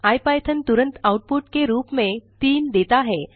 IPython output आउटपुट के रूप में 3 देता है